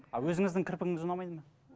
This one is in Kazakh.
а өзіңіздің кірпігіңіз ұнамайды ма